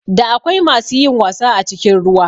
Da akwai masu yin wasa a cikin ruwa